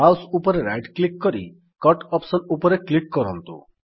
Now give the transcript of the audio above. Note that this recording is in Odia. ମାଉସ୍ ଉପରେ ରାଇଟ୍ କ୍ଲିକ୍ କରି କଟ୍ ଅପ୍ସନ୍ ଉପରେ କ୍ଲିକ୍ କରନ୍ତୁ